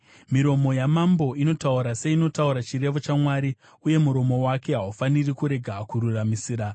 Miromo yamambo inotaura seinotaura chirevo chaMwari, uye muromo wake haufaniri kurega kururamisira.